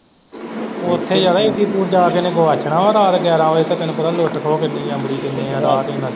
ਉੱਥੇ ਇੱਡੀ ਦੂਰ ਜਾ ਕੇ ਇਹਨੇ ਗੁਆਚਣਾ ਹੈ ਰਾਤ ਗਿਆਰਾਂ ਵਜੇ ਤੱਕ ਤੈਨੂੰ ਪਤਾ ਲੁੱਟ ਖੋਹ ਕਿੰਨੀ ਹੈ ਅਮਲੀ ਕਿੰਨੇ ਹੈ .